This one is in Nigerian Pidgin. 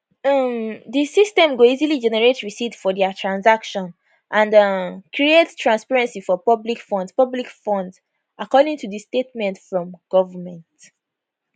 um di system go easily generate receipt for dia transaction and um create transparency for public funds public funds according to di statement from government